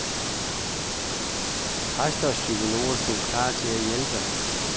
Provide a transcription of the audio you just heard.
Præster og psykologer stod klar til at hjælpe.